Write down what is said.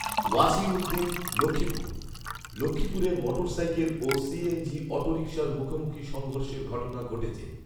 ওয়াছীঊদ্দিন, লক্ষ্মীপুর, লক্ষ্মীপুরে মোটরসাইকেল ও সিএনজি অটোরিক্সার মুখোমুখি সংঘর্ষের ঘটনা ঘটেছে